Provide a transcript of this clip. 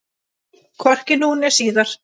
Hvorki nú né síðar.